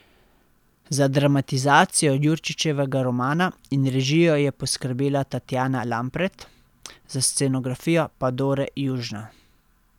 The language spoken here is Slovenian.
Za dramatizacijo Jurčičevega romana in režijo je poskrbela Tatjana Lampret, za scenografijo pa Dore Južna.